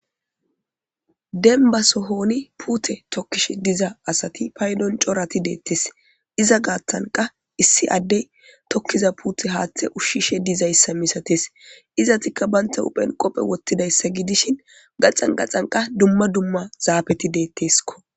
Deniba sohoni pute tokishe diza asati payidon coorati de'etes iza gathanika issi adey pute hathe ushishe dizayisa misates izatika banita huphen qophe woxidaysa gidishin gaxani gaxani duma duma zapeti de'esko